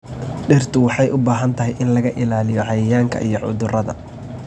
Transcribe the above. Dhirtu waxa ay u baahantahay in laga ilaaliyo cayayaanka iyo cudurada.